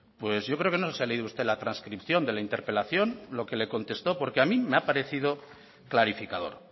pues yo creo que no se ha leído usted la trascripción de la interpelación lo que le contestó porque a mí me ha parecido clarificador